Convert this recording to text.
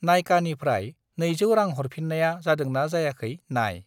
नाइकानिफ्राय 200 रां हरफिन्नाया जादोंना जायाखै नाय!